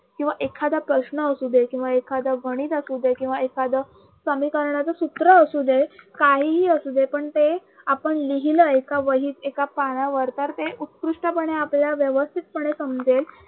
किंवा एखादा प्रश्न असू दे किंवा एखाद गणित असू दे किंवा एखाद समीकरणाच सूत्र असू दे काहीही असू दे पण ते आपण लिहिलं एका वहीत एका पानावर तर ते उत्कृष्टपणे आपल्याला व्यवस्थितपणे समजेल